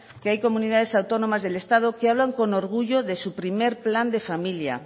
que hay comunidades autónomas del estado que hablan con orgullo de su primer plan de familia